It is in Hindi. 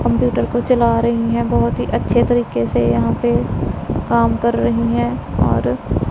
कंप्यूटर को चला रही हैं बहुत ही अच्छे तरीके से यहां पे काम कर रही हैं और--